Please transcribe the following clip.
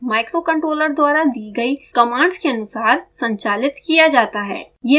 mosfets microcontroller द्वारा दी गयी कमांड्स के अनुसार संचालित किया जाता है